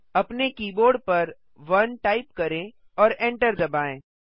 अपने कीबोर्ड पर 1 टाइप करें और एंटर दबाएँ